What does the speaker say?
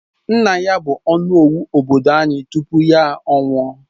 Nna ya bu onowu obodo anyi tupu ya nwụọ